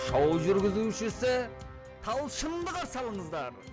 шоу жүргізушісі талшынды қарсы алыңыздар